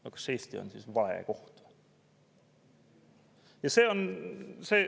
No kas Eesti on siis vale koht?